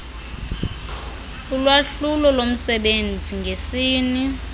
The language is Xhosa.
ulwahlulo lomsebenzi ngesini